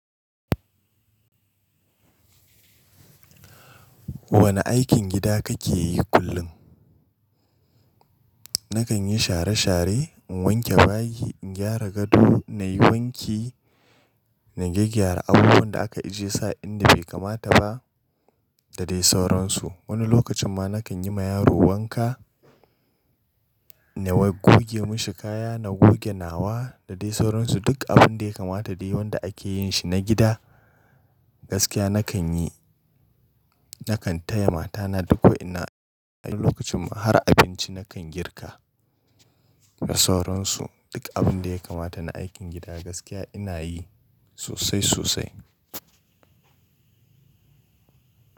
Wane aikin gida kake yi kullum? Nakan yi share share, in wanke bayi, in gyara gado, na yi wanki, na gyaggyara abubuwan da aka ijiye su a inda bai kamata ba, da dai sauransu. Wani lokacin ma nakan yi ma yaro wanka, na goge mashi kaya, na goge nawa da dai sauransu. Duk abun da ya kamata dai wanda ake yin shi na gida, gaskiya nakan yi. Nakan taya mata na duk wa'innan. Wani lokacin ma har abinci nakan girka, da sauransu. Duk abun da ya kamata na aikin gida gaskiya ina yi, sosai sosai.